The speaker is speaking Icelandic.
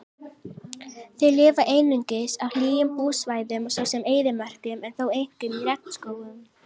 Þau lifa einungis á hlýjum búsvæðum svo sem eyðimörkum en þó einkum í regnskógum.